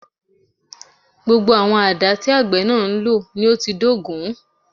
Gbogbo àwọn àdá tí àgbẹ̀ náà ń lò ni ó ti dógùn